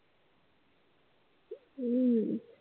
हम्म